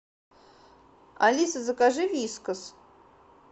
алиса закажи вискас